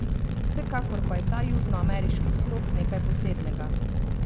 Vsekakor pa je ta južnoameriški slog nekaj posebnega.